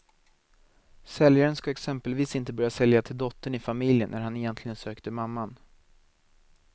Säljaren ska exempelvis inte börja sälja till dottern i familjen när han egentligen sökte mamman.